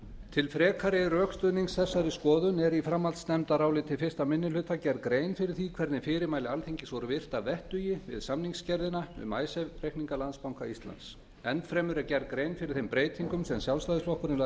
til frekari rökstuðnings þessari skoðun er í framhaldsnefndaráliti fyrsti minni hluta gerð grein fyrir því hvernig fyrirmæli alþingis voru virt að vettugi við samningsgerðina um icesave reikninga landsbanka íslands enn fremur er gerð grein fyrir þeim breytingum sem sjálfstæðisflokkurinn lagði